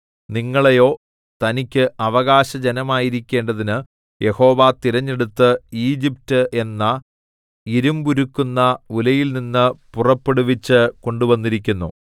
നിങ്ങളെയോ തനിക്ക് അവകാശജനമായിരിക്കേണ്ടതിന് യഹോവ തിരഞ്ഞെടുത്ത് ഈജിപ്റ്റ് എന്ന ഇരിമ്പുരുക്കുന്ന ഉലയിൽ നിന്ന് പുറപ്പെടുവിച്ച് കൊണ്ടുവന്നിരിക്കുന്നു